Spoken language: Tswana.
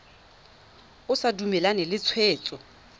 o sa dumalane le tshwetso